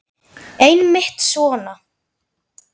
Einmitt svona.